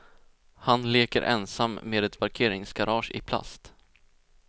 Han leker ensam med ett parkeringsgarage i plast.